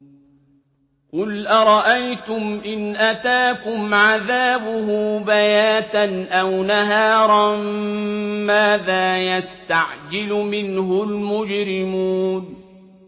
قُلْ أَرَأَيْتُمْ إِنْ أَتَاكُمْ عَذَابُهُ بَيَاتًا أَوْ نَهَارًا مَّاذَا يَسْتَعْجِلُ مِنْهُ الْمُجْرِمُونَ